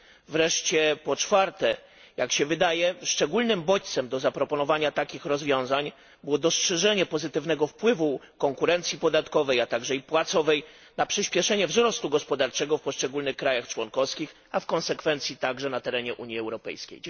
Wreszcie po czwarte, jak się wydaje, szczególnym bodźcem do zaproponowania takich rozwiązań było dostrzeżenie pozytywnego wpływu konkurencji podatkowej, a także i płacowej, na przyśpieszenie wzrostu gospodarczego w poszczególnych państwach członkowskich, a w konsekwencji także na terenie Unii Europejskiej.